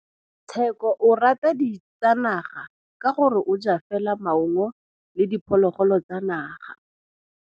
Tshekô o rata ditsanaga ka gore o ja fela maungo le diphologolo tsa naga.